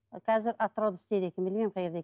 қазір атырауда істейді екен білмеймін қай жерде екенін